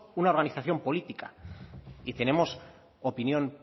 una organización política y tenemos opinión